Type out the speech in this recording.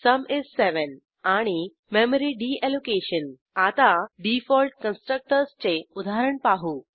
sum is 7 आणि memory deallocation आता default कन्स्ट्रक्टर्सचे उदाहरण पाहू